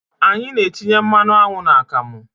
Anyị na-etinye mmanụ aṅụ n'akamụ.